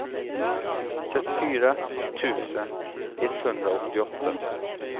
trettiofyra tusen etthundraåttioåtta